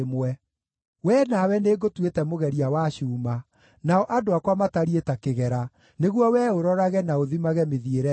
“Wee nawe nĩngũtuĩte mũgeria wa cuuma, nao andũ akwa matariĩ ta kĩgera, nĩguo wee ũrorage na ũthimage mĩthiĩre yao.